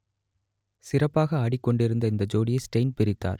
சிறப்பாக ஆடிக் கொண்டிருந்த இந்த ஜோடியை ஸ்டெய்ன் பிரித்தார்